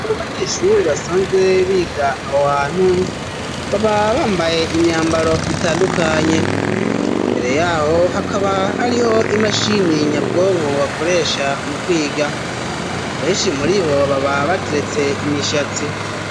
Amu banyeshuri basanzwe biga awo hantu baba bambaye imyambaro itandukanye imbere yaho hakaba hariho imashini nyabwonko bakoresha mu kwiga abeshi muri bo baba bateretse imishatsi.